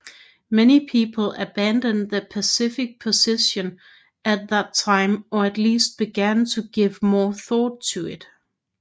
Many people abandoned the pacifist position at that time or at least began to give more thought to it